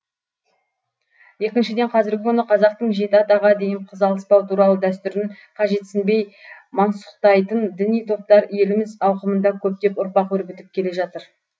екіншіден қазіргі күні қазақтың жеті атаға дейін қыз алыспау туралы дәстүрін қажетсінбей мансұқтайтын діни топтар еліміз ауқымында көптеп ұрпақ өрбітіп келе жатыр